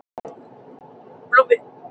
Aldrei komust þeir þó að Hvítárvatni.